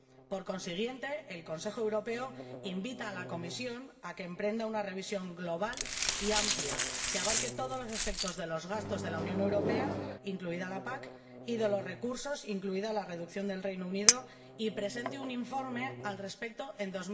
Por consiguiente, el Consejo Europeo invita a la Comisión a que emprenda una revisión global y amplia, que abarque todos los aspectos de los gastos de la UE, incluida la PAC, y de los recursos, incluida la reducción del Reino Unido, y presente un informe al respecto en